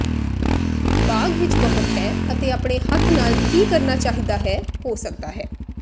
ਬਾਗ ਵਿੱਚ ਬਹੁਤ ਹੈ ਅਤੇ ਆਪਣੇ ਹੱਥ ਨਾਲ ਕੀ ਕਰਨਾ ਚਾਹੀਦਾ ਹੈ ਹੋ ਸਕਦਾ ਹੈ